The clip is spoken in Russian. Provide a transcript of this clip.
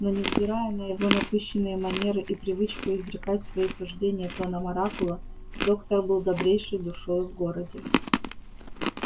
но невзирая на его напыщенные манеры и привычку изрекать свои суждения тоном оракула доктор был добрейшей душою в городе